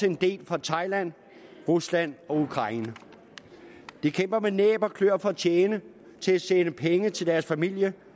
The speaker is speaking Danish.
en del fra thailand rusland og ukraine de kæmper med næb og kløer for at kunne tjene til at sende penge til deres familie